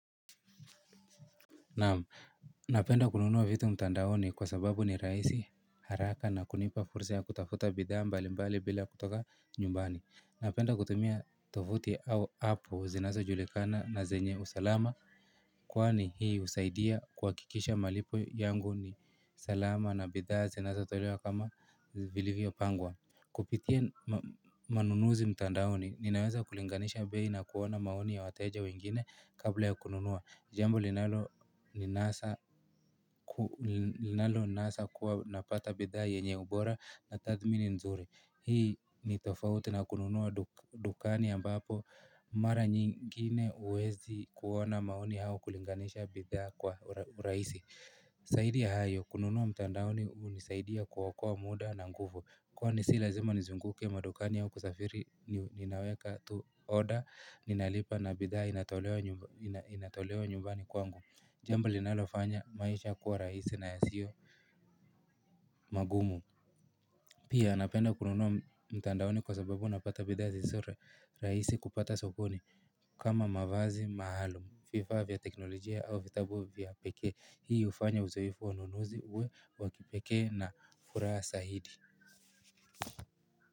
Naam, napenda kununua vitu mtandaoni kwa sababu ni rahisi, haraka na kunipa fursa ya kutafuta bidhaa mbalimbali bila kutoka nyumbani. Napenda kutumia tovuti au apu zinazojulikana na zenye usalama. Kwani hii husaidia kuhakikisha malipo yangu ni salama na bidhaa zinazotolewa kama vilivyopangwa. Kupitia manunuzi mtandaoni, ninaweza kulinganisha bei na kuona maoni ya wateja wengine kabla ya kununua. Jambo linaloninasa kuwa napata bidhaa yenye ubora na tathmini nzuri. Hii ni tofauti na kununua dukani ambapo mara nyingine huwezi kuona maoni au kulinganisha bidhaa kwa urahisi. Zaidi ya hayo, kununua mtandaoni hunisaidia kuokoa muda na nguvu. Kwani si lazima nizunguke madukani au kusafiri juu ninaweka tu order, ninalipa na bidhaa inatolewa nyumbani kwangu. Jambo linalofanya maisha kuwa rahisi na yasio magumu. Pia napenda kununua mtandaoni kwa sababu napata bidhaa zisizo rahisi kupata sokoni kama mavazi maalum, vifaa vya teknolojia au vitabu vya pekee. Hii hufanya uzoefu wa ununuzi uwe wa kipekee na furaha zaidi.